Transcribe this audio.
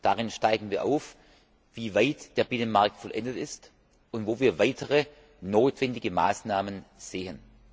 Darin zeigen wir auf, wie weit der Binnenmarkt vollendet ist und wo wir weitere notwendige Maßnahmen sehen.